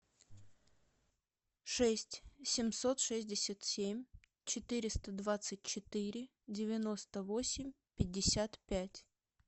шесть семьсот шестьдесят семь четыреста двадцать четыре девяносто восемь пятьдесят пять